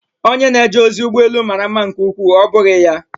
Onye na-eje ozi ụgbọ elu mara mma nke ukwuu, ọ́ bụghị ya?